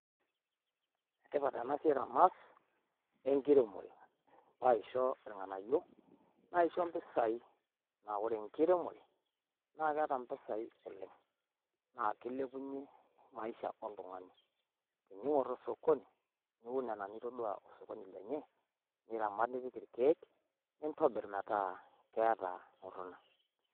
Ene tipat Ena siai teneas e nkiremore. Peye aisho ilng'anayio naisho mpisai. Amu ore enkiremore naa keeta mpisai oleng naa kilepunyie maisha oltung'ani. Tening'or osokoni niun nena nitodua osokoni lenye niramat nipik ilkiek lenye. Nintobirr metaa keeta oltonai.